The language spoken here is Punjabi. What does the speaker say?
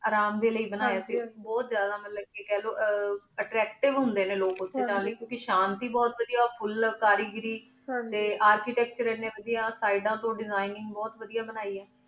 ਆਰਾਮ ਡੀ ਲੈ ਬਨਾਯਾ ਸੇ ਗਾ ਹਨ ਜੀ ਬੁਹਤ ਜਾਦਾ ਮਤਲਬ ਕੀ ਖ ਲੋ ਅਚ੍ਤੀਵੇ ਹੁਦੀ ਨੀ ਲੋਗ ਉਠੀ ਜਾ ਕੀ ਸ਼ਾਂਤੀ ਬੁਹਤ ਵਾਦੇਯਾ ਫੁਲ ਕਰੀ ਘਿਰੀ ਟੀ ਅਰ੍ਕਿਤਾਕ੍ਤੁਰੇ ਏਨੀ ਵਾਦੇਯਾ ਸਾਰੀ ਤੂੰ ਦੇਸਿਗ੍ਨੀਂ ਬੁਹਤ ਵਾਦੇਯਾ ਬ੍ਨ੍ਯੀ ਆਯ